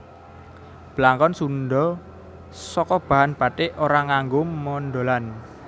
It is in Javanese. Blangkon Sundha saka bahan bathik ora nganggo mondholan